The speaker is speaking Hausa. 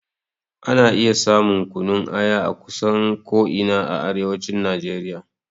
Ana iya samun kunun aya akusan ko ina a arewacin Najeriya.